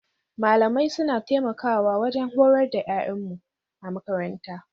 Malamai suna taimakawa wajen horar da yaranmu a makaranta.